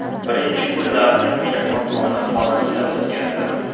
Birinchi kunlarni mehmonxona xonasida o‘tkazdim.